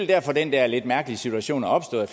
derfor at den der lidt mærkelige situation er opstået